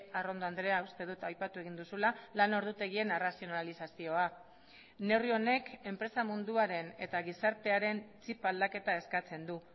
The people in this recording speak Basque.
arrondo andrea uste dut aipatu egin duzula lan ordutegien arrazionalizazioa neurri honek enpresa munduaren eta gizartearen txip aldaketa eskatzen du